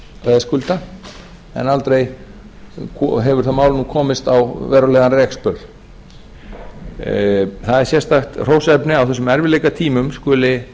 veðskulda en aldrei hefur það mál komist á verulegan rekspöl það er sérstakt hróssefni á þessum erfiðleikatímum skuli